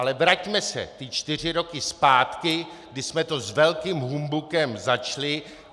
Ale vraťme se ty čtyři roky zpátky, kdy jsme to s velkým humbukem začali.